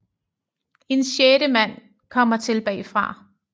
En sjette mand kommer til bagfra